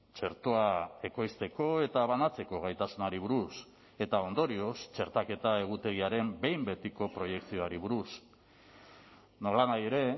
txertoa ekoizteko eta banatzeko gaitasunari buruz eta ondorioz txertaketa egutegiaren behin betiko proiekzioari buruz nolanahi ere